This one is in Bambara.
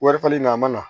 Wari falen nin a ma na